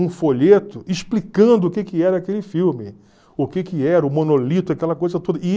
um folheto explicando o que que era aquele filme, o que que era, o monolito, aquela coisa toda.